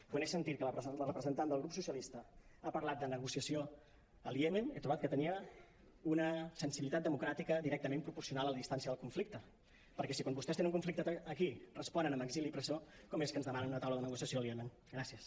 quan he sentit que la representant del grup socialistes ha parlat de negociació al iemen he trobat que tenia una sensibilitat democràtica directament proporcional a la distància del conflicte perquè si quan vostès tenen un conflicte aquí responen amb exili i presó com és que ens demana una taula de negociació al iemen gràcies